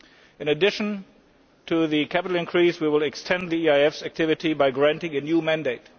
In addition to the capital increase we will extend the EIF's activity by granting a new mandate.